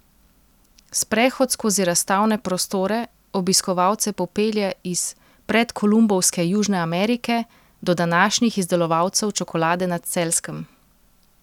Sprehod skozi razstavne prostore obiskovalce popelje iz predkolumbovske Južne Amerike do današnjih izdelovalcev čokolade na Celjskem.